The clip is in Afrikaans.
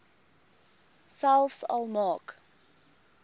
selfs al maak